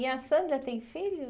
E a Sandra tem filhos?